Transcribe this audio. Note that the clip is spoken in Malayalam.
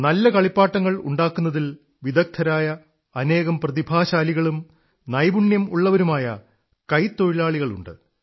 നല്ല കളിപ്പാട്ടങ്ങളുണ്ടാക്കുന്നതിൽ വിദഗ്ധരായ അനേകം പ്രതിഭാശാലികളും നൈപുണമുള്ളവരുമായ കൈത്തൊഴിലാളികളുമൂണ്ട്